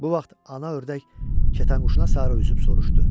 Bu vaxt Ana Ördək Kətanquşuna sarı üzüb soruştu: